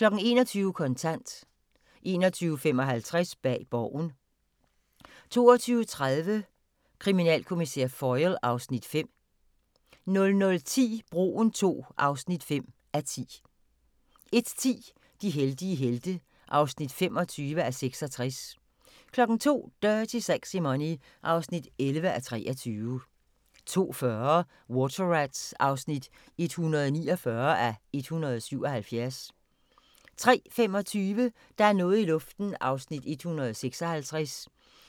21:00: Kontant 21:55: Bag Borgen 22:30: Kriminalkommissær Foyle (Afs. 5) 00:10: Broen II (5:10) 01:10: De heldige helte (25:66) 02:00: Dirty Sexy Money (11:23) 02:40: Water Rats (149:177) 03:25: Der er noget i luften (156:320)